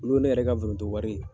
Olu ye ne yɛrɛ ka foronto wari ye.